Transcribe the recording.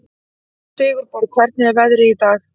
Sigurborg, hvernig er veðrið í dag?